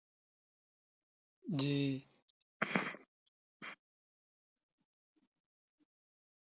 জি